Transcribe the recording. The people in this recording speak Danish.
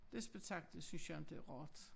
Det spetakel synes jeg inte er rart